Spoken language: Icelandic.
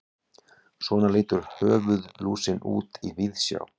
svona lítur höfuðlúsin út í víðsjá